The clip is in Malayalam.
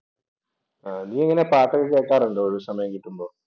നീയെങ്ങനെ പാട്ടൊക്കെ കേൾക്കാറുണ്ടോ ഒഴിവുസമയം കിട്ടുമ്പോ?